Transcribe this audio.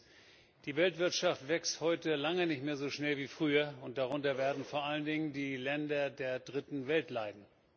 Erstens Die Weltwirtschaft wächst heute lange nicht mehr so schnell wie früher, und darunter werden vor allen Dingen die Länder der Dritten Welt leiden.